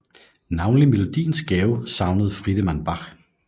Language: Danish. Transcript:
Navnlig melodiens gave savnede Friedemann Bach